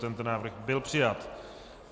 Tento návrh byl přijat.